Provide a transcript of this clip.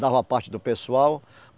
Dava a parte do pessoal.